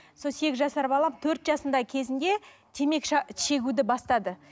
сол сегіз жасар балам төрт жасында кезінде темекі шегуді бастады